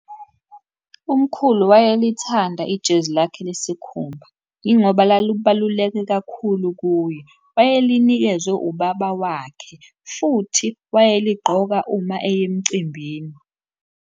Umkhulu wayelithanda ijezi lakhe lesikhumba, yingoba lalibaluleke kakhulu kuye. Wayelinikezwe ubaba wakhe, futhi wayeligqoka uma eya emcimbini.